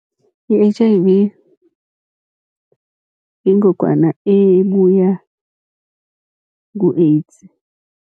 I-H_I_V yingogwana ebuya ku-AIDS.